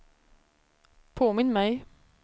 påminn mig